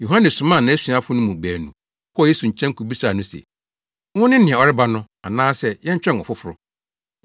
Yohane somaa nʼasuafo no mu baanu kɔɔ Yesu nkyɛn kobisaa no se, “Wone nea ɔreba no, anaasɛ yɛntwɛn ɔfoforo?”